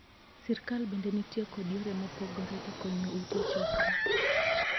Sirkal bende nitie kod yore mopogore e konyo ute 'chokra'.